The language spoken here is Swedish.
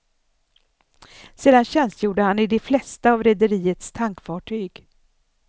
Sedan tjänstgjorde han i de flesta av rederiets tankfartyg.